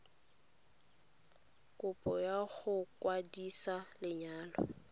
kopo ya go kwadisa lenyalo